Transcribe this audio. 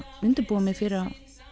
undirbúa mig fyrir að